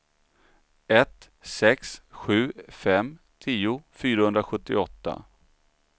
ett sex sju fem tio fyrahundrasjuttioåtta